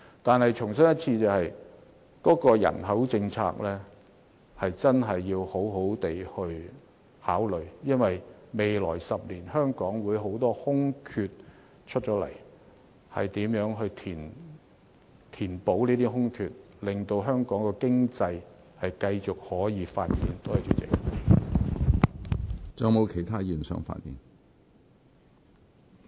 我重申，政府確實要好好考慮人口政策，因為未來10年香港會有很多職位騰空出來，如何填補這些空缺令香港經濟繼續發展，是一項艱巨工作。